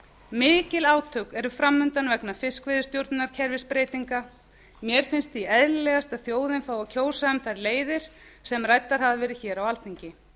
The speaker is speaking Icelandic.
mikil átök eru fram undan vegna fiskveiðistjórnarkerfisbreytinga mér finnst því eðlilegast að þjóðin fái að kjósa um þær leiðir sem ræddar hafa verið hér á alþingi